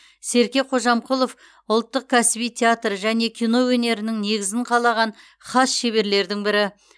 серке кожамқұлов ұлттық кәсіби театр және кино өнерінің негізін қалаған хас шеберлердің бірі